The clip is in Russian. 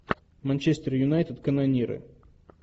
манчестер юнайтед канониры